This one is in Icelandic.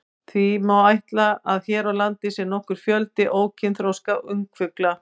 Því má ætla að hér á landi sé nokkur fjöldi ókynþroska ungfugla.